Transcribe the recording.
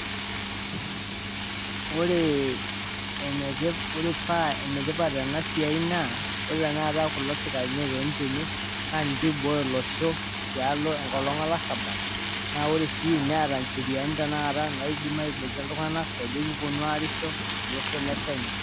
Ore paa enetipat ena siai naa, ore tenakata kulo sikarini ootini tene naa ninche ooibooyo olosho tialo enkolong' olarrabal naa ore sii neeta ncheriani taata naidim aiboikie iltung'anak loojo kipwonu aarisho tolosho le Kenya